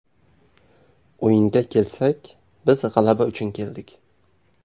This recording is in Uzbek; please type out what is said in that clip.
O‘yinga kelsak, biz g‘alaba uchun keldik.